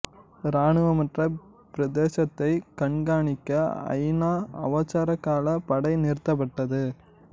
இராணுவமற்ற பிரதேசத்தை கண்கானிக்க ஐ நா அவசரகால படை நிறுத்தப்பட்டது